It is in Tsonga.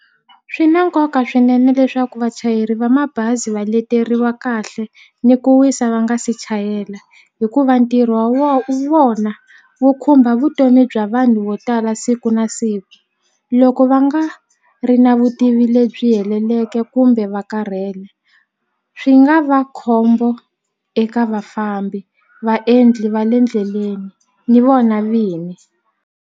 Swi na nkoka swinene leswaku vachayeri va mabazi va leteriwa kahle ni ku wisa va nga se chayela hikuva ntirho wa vona wu khumba vutomi bya vanhu vo tala siku na siku loko va nga ri na vutivi lebyi heleleke kumbe va karhele swi nga va khombo eka vafambi vaendli va le ndleleni ni vona vini.